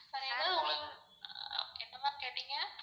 வேற எதாவது உங்களுக்கு, என்ன ma'am கேட்டீங்க?